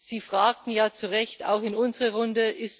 Sie fragten ja zu Recht auch in unsere Runde